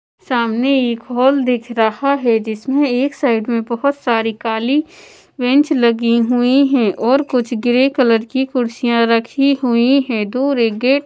सामने एक हॉल दिख रहा है जिसमें एक साइड में बोहोत सारी कली बेंच लगी हुई है और कुछ ग्रे कलर की कुर्सियां रखी हुई है दूर एक गेट --